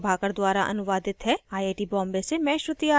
यह स्क्रिप्ट प्रभाकर द्वारा अनुवादित है मैं यश वोरा अब आपसे विदा लेता हूँ